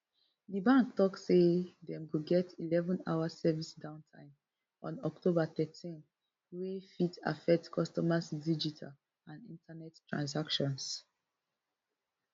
di bank tok say dem go get eleven hour service downtime on october thirteen wey fit affect customers digital and internet transactions